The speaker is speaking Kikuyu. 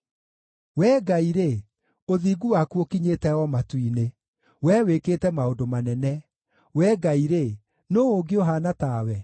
Wee Ngai-rĩ, ũthingu waku ũkinyĩte o matu-inĩ, Wee wĩkĩte maũndũ manene. Wee Ngai-rĩ, nũũ ũngĩ ũhaana ta we?